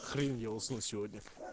хрень я усну сегодня